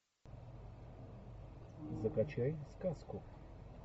закачай сказку